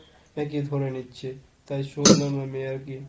নাকি ধরে নিচ্ছে। তাই শোনালাম আমি আর কি।